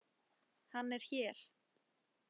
Hann er hér.